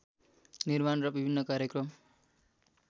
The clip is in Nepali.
निर्माण र विभिन्न कार्यक्रम